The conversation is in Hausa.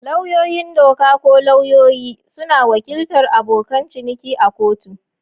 Lauyoyin doka, ko lauyoyi, suna wakiltar abokan ciniki a kotu.